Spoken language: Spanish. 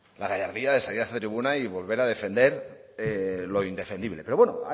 la gallardía de salir a esta tribuna y volver a defender lo indefendible pero bueno